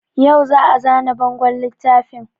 Yau za a zana bangon littafin